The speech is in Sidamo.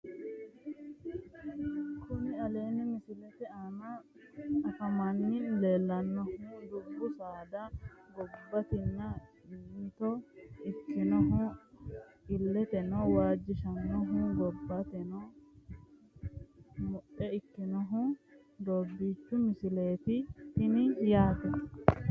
Kuni aleenni misilete aana afamanni leellannohu dubbu saada giddonni mitto ikkinohu illeteno waajjishannohu gobbateno muxxe ikkinohu doobbiichu misileeti tini yaate